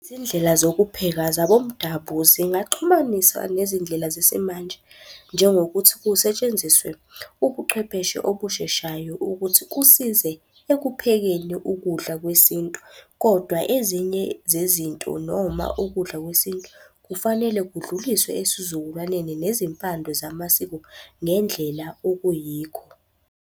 Izindlela zokupheka zabomdabu zingaxhumaniswa nezindlela zesimanje, njengokuthi kusetshenziswe ubuchwepheshe obusheshayo ukuthi kusize ekuphekeni ukudla kwesintu. Kodwa ezinye zezinto noma ukudla kwesintu kufanele kudluliswe esizukulwaneni nezimpande zamasiko ngendlela okuyikho.